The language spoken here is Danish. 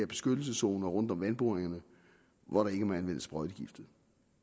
beskyttelseszoner rundt om vandboringerne hvor der ikke må anvendes sprøjtegifte